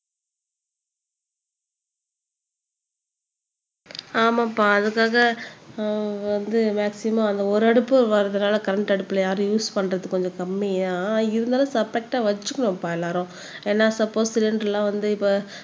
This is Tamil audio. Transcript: ஆமாப்பா அதுக்காக அஹ் வந்து மாக்ஸிமும் அந்த ஒரு அடுப்பு வரதுனால கரண்ட் அடுப்புல யாரும் யூஸ் பண்றது கொஞ்சம் கம்மியா இருந்தாலும் வச்சுக்கணும்ப்பா எல்லாரும் ஏன்னா சப்போஸ் சிலிண்டர் எல்லாம் வந்து இப்ப